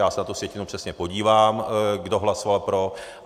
Já se na tu sjetinu přesně podívám, kdo hlasoval pro.